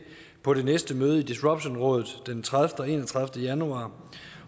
på det næste møde i disruptionrådet den tredivete og enogtredivete januar